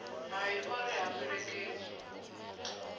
hai o ri ha fhelekedzwi